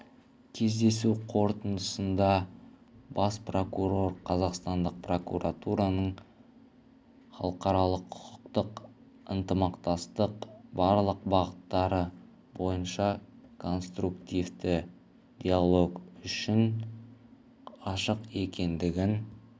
кездесу қорытындысында бас прокурор қазақстандық прокуратураның халықаралық-құқықтық ынтымақтастықтың барлық бағыттары бойынша конструктивті диалог үшін ашық екендігін